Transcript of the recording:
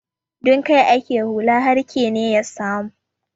Don kai ake hulla har kene ya samu.